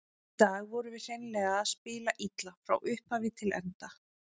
Í dag vorum við hreinlega að spila illa, frá upphafi til enda.